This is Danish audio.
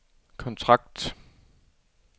kontrakt